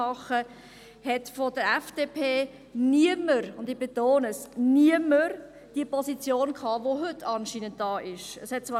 Damals hatte niemand – ich betone: niemand – von der FDP die Position vertreten, die die FDP heute vertritt.